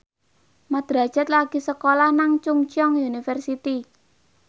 Mat Drajat lagi sekolah nang Chungceong University